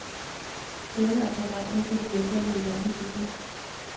Senere kan drengen kopieres ind i et andet billede.